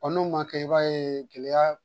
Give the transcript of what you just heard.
N'o ma kɛ i b'a ye gɛlɛya